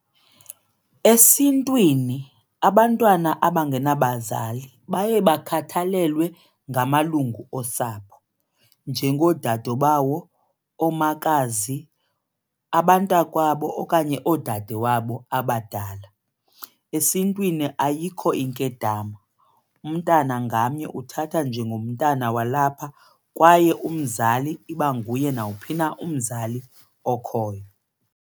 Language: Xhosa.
Esintwini abantwana abangenabazali baye bakhathalelwe ngamalungu osapho, njengoodadobawo, omakazi, abantakwabo okanye oodade wabo abadala. Esintwini ayikho inkedama, umntana ngamnye uthathwa njengomntana walapha kwaye umzali iba nguye nawuphi na umzali okhoyo.